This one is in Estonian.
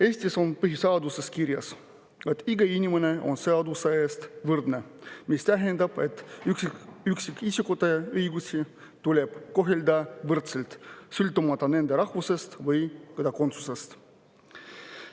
Eesti põhiseaduses on kirjas, et kõik inimesed on seaduse ees võrdsed, mis tähendab, et üksikisikute õigusi tuleb kohelda võrdselt, sõltumata rahvusest või kodakondsusest.